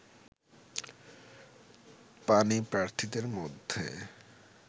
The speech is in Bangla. পাণিপ্রার্থীদের মধ্যে